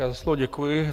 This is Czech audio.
Já za slovo děkuji.